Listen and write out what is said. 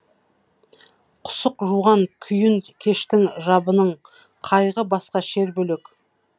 құсық жуған күйін кештің жабының қайғы басқа шер бөлек